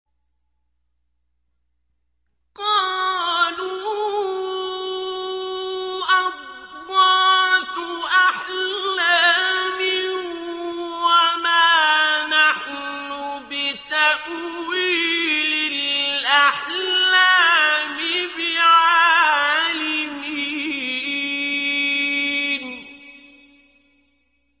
قَالُوا أَضْغَاثُ أَحْلَامٍ ۖ وَمَا نَحْنُ بِتَأْوِيلِ الْأَحْلَامِ بِعَالِمِينَ